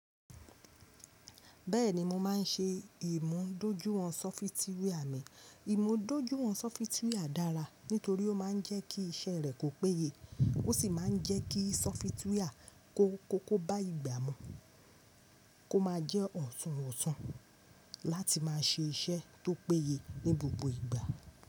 Bẹ́ẹ̀ni mo máa ń ṣe ìmúdójúìwọ̀n sọfitíwíà mi. Ìmúdójúìwọ̀n sọfitíwíà dára nítorí ó máa ń jẹ́ kí iṣẹ́ rẹ kó péye, ó sì máa ń jẹ́ kí sọfitíwíà kó, kó, kó bá ìgbà mu, kó máa jẹ́ ọ̀tún ọ̀tún láti máa ṣe iṣẹ́ tó péye ní gbogbo ìgbà.